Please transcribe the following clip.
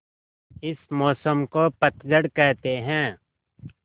इस मौसम को पतझड़ कहते हैं